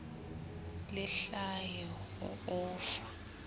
le hlahe ho o fa